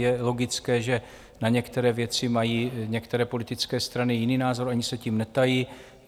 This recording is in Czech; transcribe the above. Je logické, že na některé věci mají některé politické strany jiný názor, ani se tím netají.